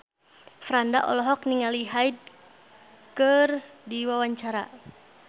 Franda olohok ningali Hyde keur diwawancara